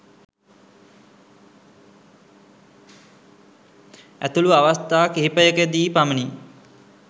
ඇතුළු අවස්ථා කිහිපයකදී පමණි.